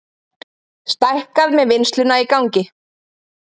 Stækkað með vinnsluna í gangi